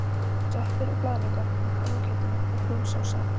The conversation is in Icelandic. Það voru sveppir og blaðlaukur með kálfakjötinu og brún sósa.